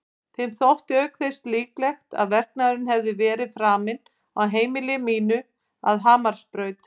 Þeim þótti auk þess líklegt að verknaðurinn hefði verið framinn á heimili mínu að Hamarsbraut.